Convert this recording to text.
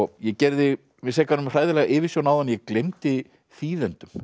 ég gerði mig sekan um hræðilega yfirsjón áðan ég gleymdi þýðendum